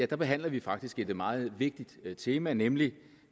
der behandler vi faktisk et meget vigtigt tema nemlig